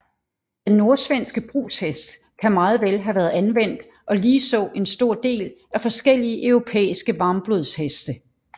Den nordsvenske brugshest kan meget vel have været anvendt og ligeså en stor del af forskellige europæiske varmblodsheste